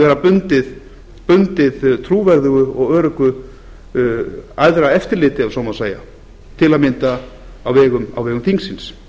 vera bundið trúverðugu og öruggu æðra eftirliti ef svo má segja til að mynda á vegum þingsins